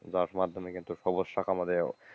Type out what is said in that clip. যার মাধ্যমে কিন্তু সবুজ শাক আমাদের,